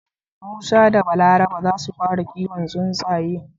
Musa da Balaraba zasu fara kiwon tsuntsaye.